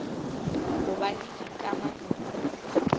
ho ba le dikamano tse